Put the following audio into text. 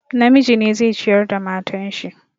Namiji ne zai ciyar da matan shi.